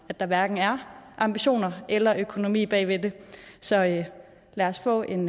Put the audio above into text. at der hverken er ambitioner eller økonomi bag ved det så lad os få en